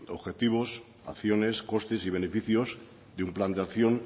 objetivos acciones costes y beneficios de un plan de acción